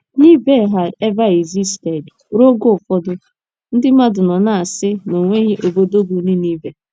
neveh had ever existed Ruo oge ụfọdụ, ndị mmadụ nọ na - asị na o nweghị obodo bụ́ Ninive